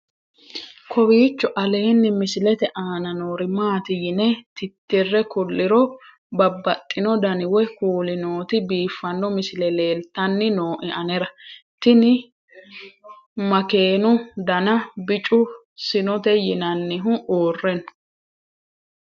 kowiicho aleenni misilete aana noori maati yine titire kulliro babaxino dani woy kuuli nooti biiffanno misile leeltanni nooe anera tino makeenu dana bicu sinote yinannihu uurre no